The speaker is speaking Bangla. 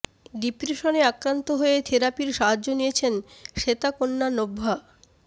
ডিপ্রেশনে আক্রান্ত হয়ে থেরাপির সাহায্য নিয়েছেন শ্বেতা কন্যা নভ্যা